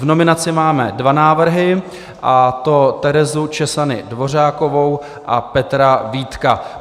V nominaci máme dva návrhy, a to Terezu Czesany Dvořákovou a Petra Vítka.